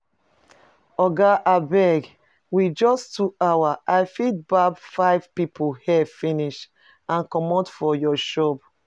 Oga abeg, with just two hours I fit barb five people hair finish and comot for your shop